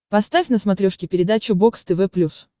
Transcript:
поставь на смотрешке передачу бокс тв плюс